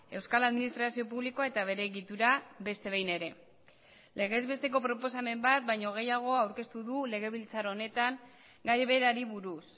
euskal administrazio publikoa eta bere egitura beste behin ere legezbesteko proposamen bat baino gehiago aurkeztu du legebiltzar honetan gai berari buruz